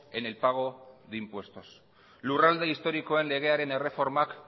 en el pago de impuestos lurralde historikoen legearen erreformak